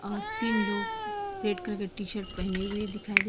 अ तीन लोग red colour के टी शर्ट पहने हुए दिखाई दे --